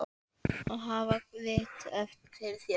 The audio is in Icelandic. Að hafa vit fyrir þér?